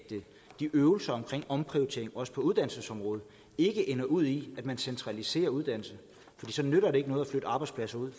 de øvelser med til omprioritering også på uddannelsesområdet ikke ender ud i at man centraliserer uddannelser fordi så nytter det ikke noget at flytte arbejdspladser ud